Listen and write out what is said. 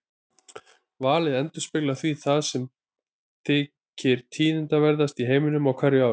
Valið endurspeglar því það sem þykir tíðindaverðast í heiminum á hverju ári.